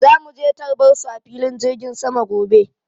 Zamu je tarbar su a filin jirgin sama gobe.